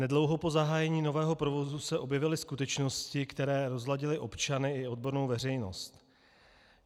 Nedlouho po zahájení nového provozu se objevily skutečnosti, které rozladily občany i odbornou veřejnost.